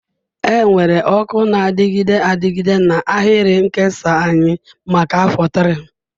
Enwere ọkụ na-adịgide adịgide na ahịrị nkesa anyị maka afọ 3.